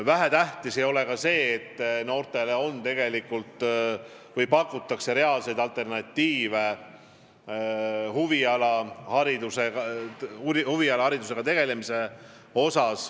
Vähetähtis ei ole see, et noortele on pakutud reaalseid alternatiive, näiteks huviharidusega tegelemist.